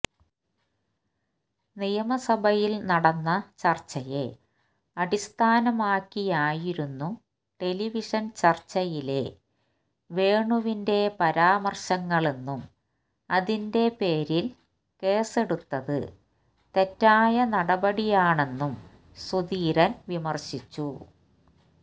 നിയമസഭയില് നടന്ന ചര്ച്ചയെ അടിസ്ഥാനമാക്കിയായിരുന്നു ടെലിവിഷന് ചര്ച്ചയിലെ വേണുവിന്റെ പരാമര്ശങ്ങളെന്നും അതിന്റെ പേരില് കേസെടുത്തത് തെറ്റായ നടപടിയാണെന്നും സുധീരന് വിമര്ശിച്ചു